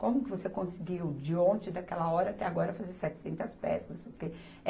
Como que você conseguiu, de ontem, daquela hora até agora, fazer setecentas peças, não sei o quê?